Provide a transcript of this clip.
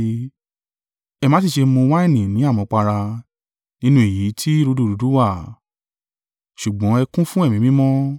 Ẹ má sí ṣe mú wáìnì ní àmupara, nínú èyí tí rúdurùdu wà; ṣùgbọ́n ẹ kún fún Ẹ̀mí Mímọ́.